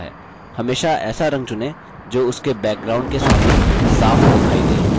हमेशा ऐसा रंग चुनें जो उसके background के सामने साफ़ दिखाई दे